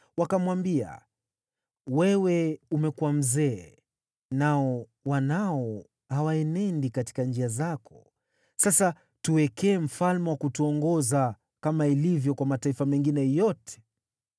Wakamwambia, “Wewe umekuwa mzee, nao wanao hawaenendi katika njia zako, sasa tuteulie mfalme wa kutuongoza, kama ilivyo kwa mataifa mengine yote.”